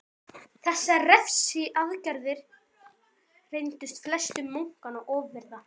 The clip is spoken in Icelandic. Þessar refsiaðgerðir reyndust flestum munkanna ofviða.